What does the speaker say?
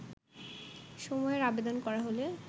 সময়ের আবেদন করা হলে